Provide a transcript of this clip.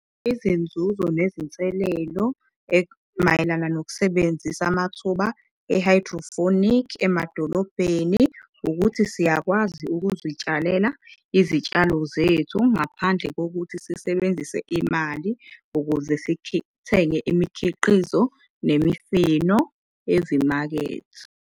Izinzuzo nezinselelo ekumayelana nokusebenzisa amathuba e-hydrophonic emadolobheni ukuthi siyakwazi ukuzitshalela izitshalo zethu ngaphandle kokuthi sisebenzise imali ukuze sithenge imikhiqizo, nemifino ezimakethe.